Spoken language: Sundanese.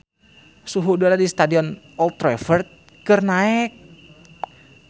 Suhu udara di Stadion Old Trafford keur naek